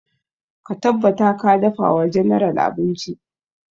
Ka tabbata ka dafa wa general abinci!